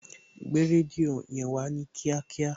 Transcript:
Gbé rédíò yẹn Wá ní kíákíá